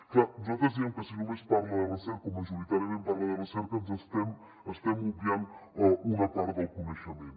és clar nosaltres diem que si només parla de recerca o majoritàriament parla de recerca estem obviant una part del coneixement